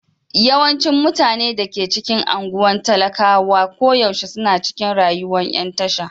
Yawancin mutanen da ke cikin anguwan talakawa koyaushe suna cikin rayuwan yan tasha.